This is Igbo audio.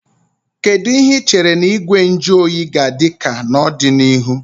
Kedu ihe ị chere na Igwe nju oyi ga-adị ka n'ọdịnihu?